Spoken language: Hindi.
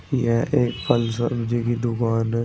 यह एक फल सब्जी की दुकान है।